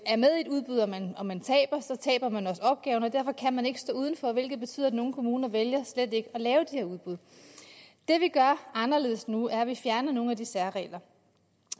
er med i et udbud og man og man taber taber man også opgaven og derfor kan man ikke stå uden for hvilket betyder at nogle kommuner vælger slet ikke at lave de her udbud det vi gør anderledes nu er at vi fjerner nogle af de særregler